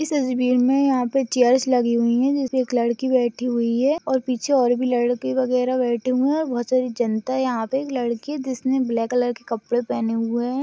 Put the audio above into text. इस अजेबेयर मे यहा पर चेअर लगी हुई है। जिस मे एक लड़की बैठी हुई है और पीछे लड़की वगरे बैठे हुए है। बहुत सारी जनता यहा पर एक लड़की जिस ने ब्लैक कलर के कपड़े पहने हुए है।